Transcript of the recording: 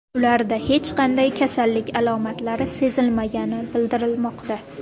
Ularda hech qanday kasallik alomatlari sezilmagani bildirilmoqda.